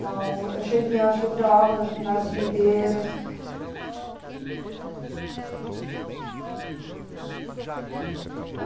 Não, a gente ajudava nas videiras.